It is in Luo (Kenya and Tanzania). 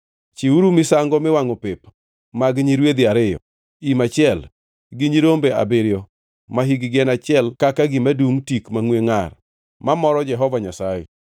Chiwuru misango miwangʼo pep mag nyirwedhi ariyo, im achiel gi nyirombe abiriyo mahikgi en achiel kaka gima dungʼ tik mangʼwe ngʼar mamoro Jehova Nyasaye.